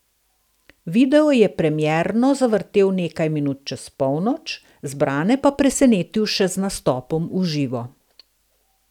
Video je premierno zavrtel nekaj minut čez polnoč, zbrane pa presenetil še z nastopom v živo.